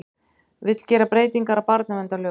Vill gera breytingar á barnaverndarlögum